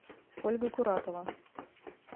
ольга куратова